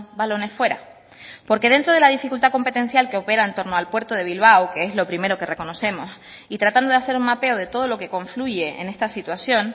balones fuera porque dentro de la dificultad competencial que opera en torno al puerto de bilbao que es lo primero que reconocemos y tratando de hacer un mapeo de todo lo que confluye en esta situación